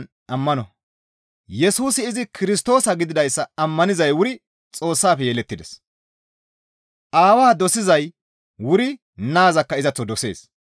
Yesusi izi Kirstoosa gididayssa ammanizay wuri Xoossafe yelettides. Aawaa dosizay wuri naazakka izaththo dosees.